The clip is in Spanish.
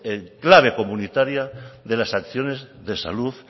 clave comunitaria de las acciones de salud